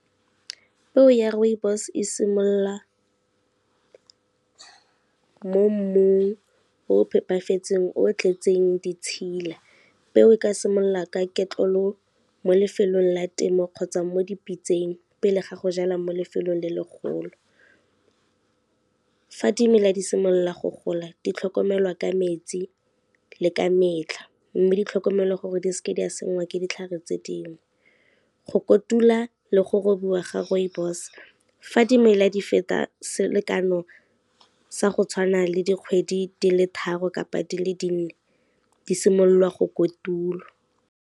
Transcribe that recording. Peo ya rooibos e simolola mo mmung o phepafetseng, o tletseng ditshila. Peo e ka simolola ka ketlelo mo lefelong la temo kgotsa mo dipitseng pele ga go jala mo lefelong le le golo. Fa dimela di simolola go gola di tlhokomelwa ka metsi le ka metlha, mme di tlhokomelwa gore di se ke di a sengwa ke ditlhare tse dingwe, go kotula le go robiwa ga rooibos fa dimela di feta selekano sa go tshwana le dikgwedi di le tharo kapa di le dinne di simolola go kotulwa.